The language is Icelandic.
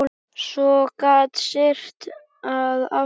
Svo gat syrt að aftur.